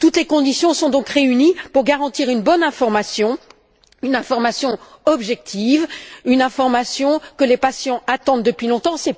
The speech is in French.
Toutes les conditions sont donc réunies pour garantir une bonne information, une information objective, une information que les patients attendent depuis longtemps.